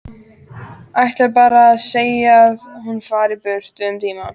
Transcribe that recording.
Ætlar bara að segja að hún fari burt um tíma.